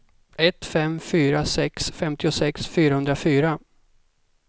ett fem fyra sex femtiosex fyrahundrafyra